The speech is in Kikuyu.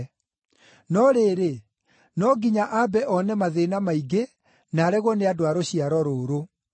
No rĩrĩ, no nginya ambe one mathĩĩna maingĩ na aregwo nĩ andũ a rũciaro rũrũ.